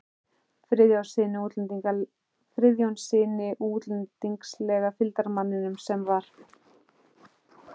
Friðjónssyni og útlendingslega fylgdarmanninum sem var